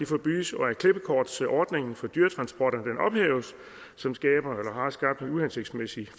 forbydes og at klippekort til ordningen for dyretransporter som har skabt en uhensigtsmæssig